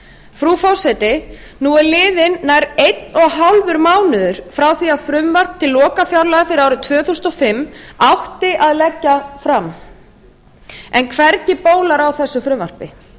frú forseti nú er liðinn nær einn og hálfur mánuður frá því að frumvarp til lokafjárlaga fyrir árið tvö þúsund og fimm átti að leggja fram en hvergi bólar á þessu frumvarpi